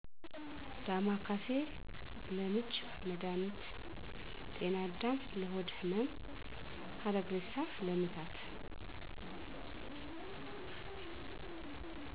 ዳማከሴ:- ለምች መድሀኒት ጤናዳም:- ለሆድ ህመም ሀረግእሬሳ:- ለምታት